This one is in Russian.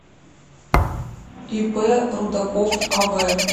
ип рудаков ав